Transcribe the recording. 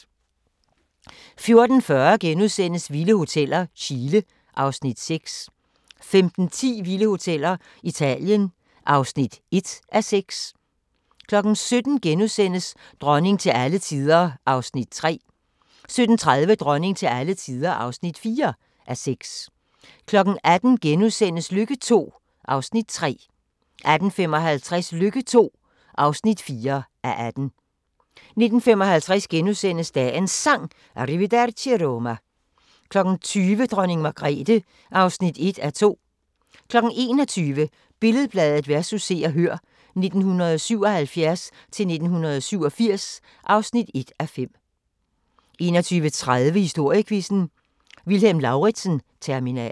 14:40: Vilde Hoteller - Chile (Afs. 6)* 15:10: Vilde hoteller: Italien (1:6) 17:00: Dronning til alle tider (3:6)* 17:30: Dronning til alle tider (4:6) 18:00: Lykke II (3:18)* 18:55: Lykke II (4:18) 19:55: Dagens Sang: Arrivederci Roma * 20:00: Dronning Margrethe (1:2) 21:00: Billed-Bladet vs. Se og Hør (1977-1987) (1:5) 21:30: Historiequizzen: Vilhelm Lauritzen-terminalen